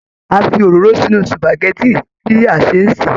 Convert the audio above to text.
A fí òróró sínú supágẹ̀tì bí s bá n ṣe.